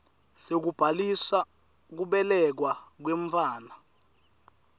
sekubhalisa kubelekwa kwemntfwana